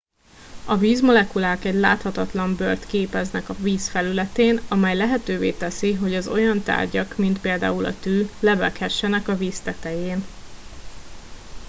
a vízmolekulák egy láthatatlan bőrt képeznek a víz felületén amely lehetővé teszi hogy az olyan tárgyak mint például a tű lebeghessenek a víz tetején